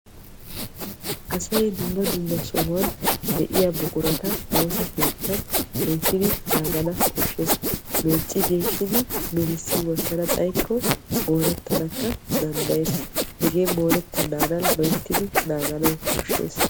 Asay dumma dumma sohuwan de'iya buquratta morettana danddayiyo gishawu loyttiddi naaganawu koshees.